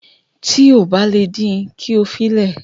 Tí o kò bá le din, kí o fi le